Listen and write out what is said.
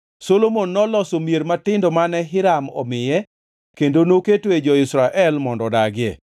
Solomon noloso mier matindo mane Hiram omiye kendo noketoe jo-Israel mondo odagie.